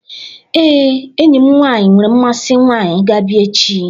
Ee, enyi m nwaanyị nwere mmasị nwaanyị ga-abịa echi.